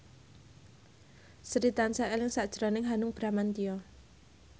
Sri tansah eling sakjroning Hanung Bramantyo